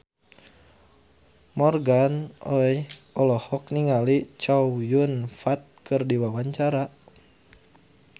Morgan Oey olohok ningali Chow Yun Fat keur diwawancara